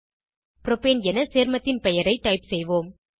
propane என சேர்மத்தின் பெயரை டைப் செய்வோம்